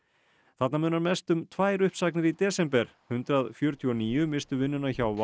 þarna munar mest um tvær uppsagnir í desember hundrað fjörutíu og níu misstu vinnuna hjá